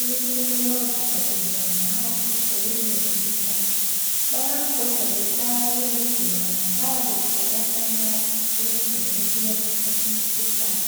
ukuthi kumele uziphathe njani nxa usuthole ulomkhuhlane. Bayabhoda bemhlaba izigulane bayabe begqoke amamask ukwenzela ukuthi bengathathi imikhuhlane.